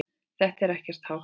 Þetta er ekkert hátt.